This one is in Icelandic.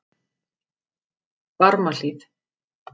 Barmahlíð